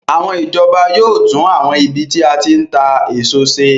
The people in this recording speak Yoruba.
Àwọn ìjọba yóò tún àwọn ibi tí a ti ń ta èso ṣe